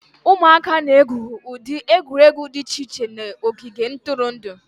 ụmụaka na-egwu ụdị egwuregwu dị iche iche na ogige ntụrụndụ